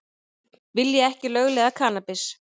Vilja ekki lögleiða kannabis